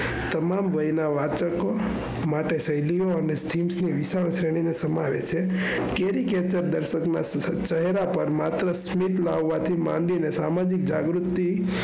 તમામ વાય ના વાંચકો માટે શિલ્યા ઓની વિચારશેની ને સમાવે છે. ચહેરા પર માત્ર સ્વેત ના હોવાથી માંડીને સામાજિક જાગૃતિ,